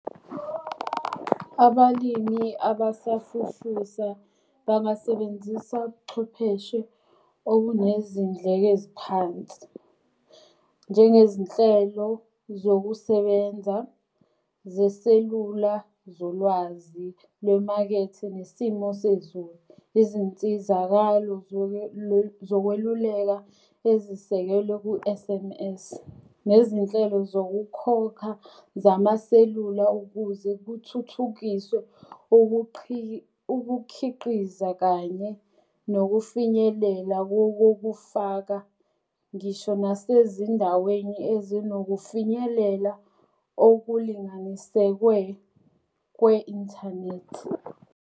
Abalimi abasafufusa bangasebenzisa ubuchwepheshe okunezindleke eziphansi. Njengezinhlelo zokusebenza zeselula zolwazi lwemakethe nesimo sezulu. Izinsizakalo zokweluleka ezisekelwe ku-S_M_S. Nezinhlelo zokukhokha zamaselula ukuze kuthuthukiswe ukukhiqiza kanye nokufinyelela kokokufaka ngisho nasezindaweni ezinokufinyelela okulinganisekwe kwe-inthanethi.